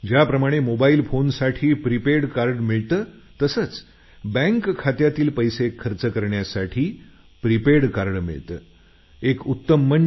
ज्याप्रमाणे मोबाईल फोनसाठी prepaid card मिळतं तसेच बँक खात्यातील पैसे खर्च करण्यासाठी प्रिपेड कार्ड मिळतं